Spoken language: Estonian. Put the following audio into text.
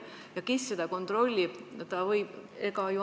Kes seda kontrollib?